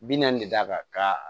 Bi naani de d'a kan ka